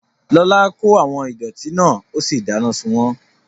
Lọlá kó àwọn ìdọ̀ọ̀tí náà ó sì dáná sun wọ́n